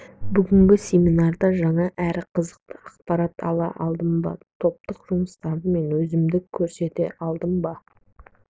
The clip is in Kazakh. бүгінгі семинарда жаңа әрі қызықты ақпарат ала алдым ба топтық жұмыстарда мен өзімді көрсете алдым ба